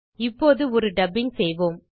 இப்போது ஒரு டப்பிங் செய்வோம்